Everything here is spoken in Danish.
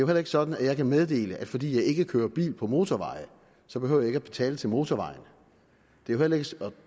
heller ikke sådan at jeg kan meddele at fordi jeg ikke kører bil på motorvejene så behøver jeg ikke betale til motorvejene